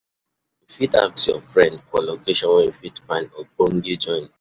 You fit ask you friend for location where you fit find ogbonge joint